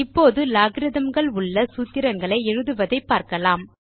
இப்போது logarithmகள் உள்ள சூத்திரங்களை எழுதுவதை பார்க்கலாம்